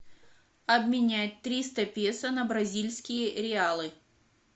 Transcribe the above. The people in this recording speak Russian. обменять триста песо на бразильские реалы